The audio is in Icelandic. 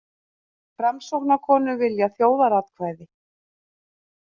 Framsóknarkonur vilja þjóðaratkvæði